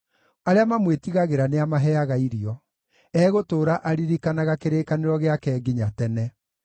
Arĩa mamwĩtigagĩra nĩamaheaga irio; egũtũũra aririkanaga kĩrĩkanĩro gĩake nginya tene.